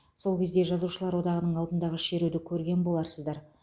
сол кезде жазушылар одағының алдындағы шеруді көрген боларсыздар